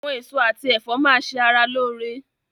Àwọn èso àti ẹ̀fọ́ máa ṣe ara lóore.